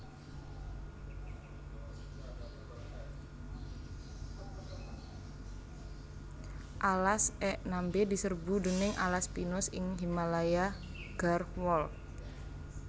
Alas ek nembe diserbu déning alas pinus ing Himalaya Garhwal